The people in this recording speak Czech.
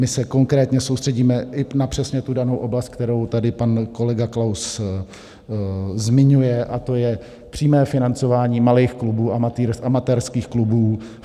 My se konkrétně soustředíme i na přesně tu danou oblast, kterou tady pan kolega Klaus zmiňuje, a to je přímé financování malých klubů, amatérských klubů.